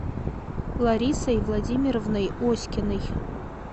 ларисой владимировной оськиной